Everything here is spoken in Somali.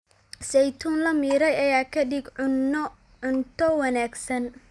Saytuun la miiray ayaa ka dhiga cunno-cunto wanaagsan.